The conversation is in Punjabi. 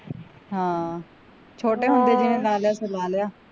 ਹਾਂ ਛੋਟੇ ਹੁੰਦੇ ਜਿਹਨੇ ਲਾ ਲਿਆ ਸੋ ਲਾ ਲਿਆ